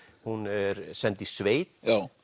hún er send í sveit